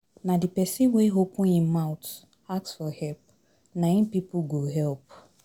Na de pesin wey open im mouth ask for help na im pipo go help.